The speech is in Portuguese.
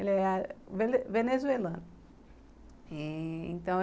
Ele é venezuelano. É, então